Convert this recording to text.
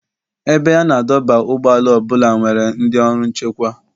Ebe a na-adọba ụgbọala ọ bụla nwere ndị ọrụ nchekwa.